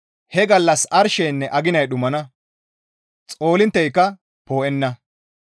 He gallas arsheynne aginay dhumana; xoolintteyka poo7enna.